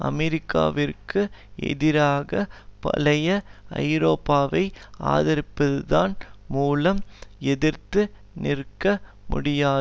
அமெரிக்காவிற்கு எதிராக பழைய ஐரோப்பாவை ஆதரிப்பதன் மூலம் எதிர்த்து நிற்க முடியாது